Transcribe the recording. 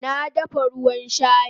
Na dafa ruwan shayi